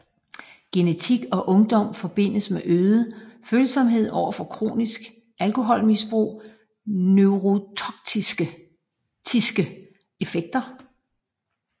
Genetik og ungdom forbindes med en øget følsomhed overfor kronisk alkoholmisbrugs neurotoksiske effekter